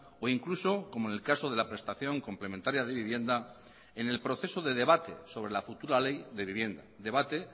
o incluso como en el caso de la prestación complementaria de vivienda en el proceso de debate sobre la futura ley de vivienda debate